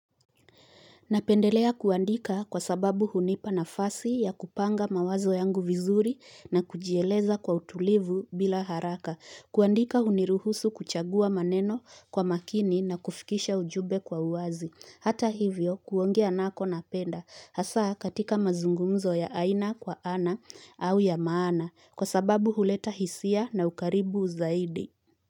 Napendelea kuandika kwa sababu hunipa nafasi ya kupanga mawazo yangu vizuri na kujieleza kwa utulivu bila haraka. Kuandika uniruhusu kuchagua maneno kwa makini na kufikisha ujube kwa uwazi. Hata hivyo, kuongea nako napenda hasa katika mazungumzo ya aina kwa ana au ya maana kwa sababu huleta hisia na ukaribu zaidi.